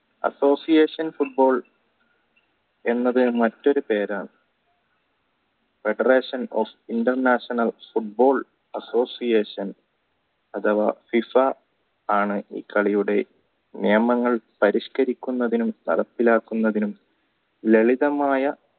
federation of international football association അതവാ FIFA എന്നാണ് ഈ കളിയുടെ നിയമങ്ങൾ പരിഷ്കരിക്കുന്നതിനും നടപ്പിലാക്കുന്നതിനും ലളിതമായ